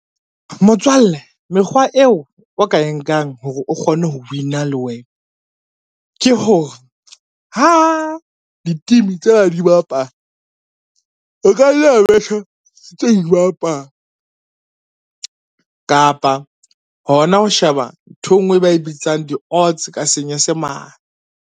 Motswalle mekgwa eo o ka e nkang hore o kgone ho win-a le wena, ke hore ha di-team tsena di bapala, e ka tse dibapala kapa hona ho sheba ntho e ngwe e ba e bitsang di-odds ka Senyesemane.